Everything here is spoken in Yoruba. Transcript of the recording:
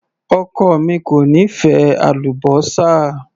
Ọkọ mi kò nífẹ̀ẹ́ àlúbósà.